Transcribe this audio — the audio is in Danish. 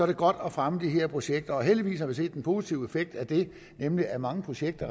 det godt at fremme de her projekter og heldigvis har vi set den positive effekt af det nemlig at mange projekter